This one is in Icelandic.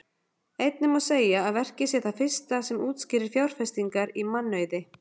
Einnig má segja að verkið sé það fyrsta sem útskýrir fjárfestingar í mannauði.